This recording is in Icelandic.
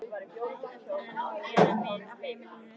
Hvað ætli þurfi nú að gera við á heimilinu?